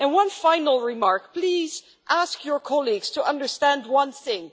One final remark. Please ask your colleagues to understand one thing.